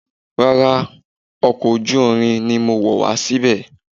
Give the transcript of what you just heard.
Rárá, ọkọ̀ ojú irin ni mo wọ̀ wá síbí.